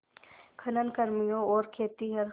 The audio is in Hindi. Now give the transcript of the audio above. खनन कर्मियों और खेतिहर